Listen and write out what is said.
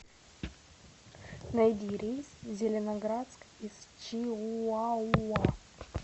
найди рейс в зеленоградск из чиуауа